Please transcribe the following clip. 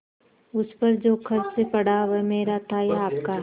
उस पर जो खर्च पड़ा वह मेरा था या आपका